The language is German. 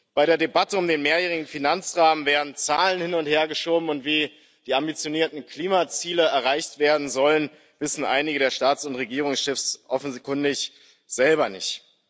Bei der Debatte um den mehrjährigen Finanzrahmen werden Zahlen hin und hergeschoben, und wie die ambitionierten Klimaziele erreicht werden sollen, wissen einige der Staats und Regierungschefs offenkundig selber nicht.